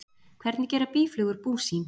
Hvernig gera býflugur bú sín?